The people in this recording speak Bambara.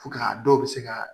Fo ka dɔw se ka